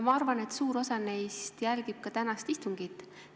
Ma arvan, et suur osa neist jälgib ka tänast istungit.